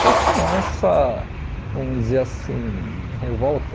Foi com essa, vamos dizer assim, revolta,